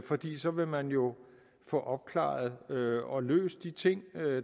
fordi så vil man jo få opklaret og løst de ting